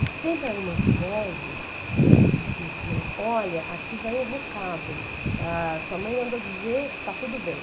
E sempre eram umas vozes que diziam, olha, aqui vai um recado, ah, sua mãe mandou dizer que está tudo bem.